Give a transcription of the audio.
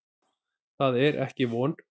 Það er ekki von.